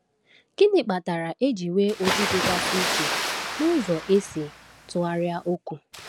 Gịnị kpatara e ji nwee ụdị dịgasị iche n’ụzọ e si tụgharịa okwu?